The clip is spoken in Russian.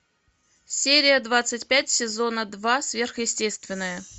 серия двадцать пять сезона два сверхъестественное